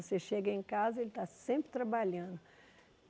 Você chega em casa, ele está sempre trabalhando.